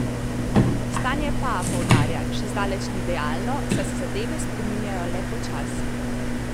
Stanje pa, poudarja, še zdaleč ni idealno, saj se zadeve spreminjajo le počasi.